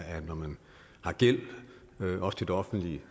at når man har gæld også til det offentlige